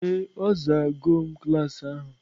Ee, a zaa go m klas ahụ.